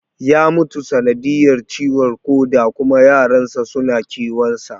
Ya mutu sanadiyar ciwon koda kuma yaran sa suna kewan sa